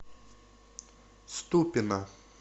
ступино